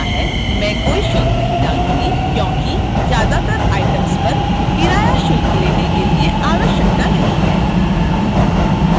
मैं कोई शुल्क नहीं डालूंगी क्योंकि ज्यादातर items पर किराया शुल्क लेने की आवश्यकता नहीं है